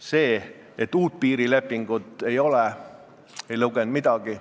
See, et uut piirilepingut ei ole, ei lugenud midagi.